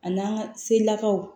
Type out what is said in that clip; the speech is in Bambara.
A n'an ka selakaw